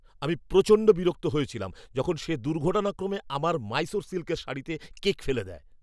আমি প্রচণ্ড বিরক্ত হয়েছিলাম যখন সে দুর্ঘটনাক্রমে আমার মাইসোর সিল্কের শাড়িতে কেক ফেলে দেয়।